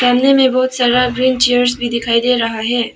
में बहुत सारा ग्रीन चेयर्स भी दिखाई दे रहा है।